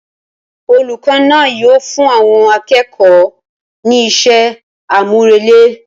Olùkọ́ náà yíò fún àwọn akẹ́kọ̀ọ́ ní iṣẹ́ àmúrelé